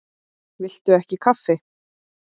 Viltu ekki kaffi?